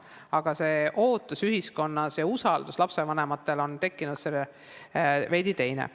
Aga ootus ühiskonnas ja lastevanemate arusaam, keda nad usaldavad, on veidi teistsugune.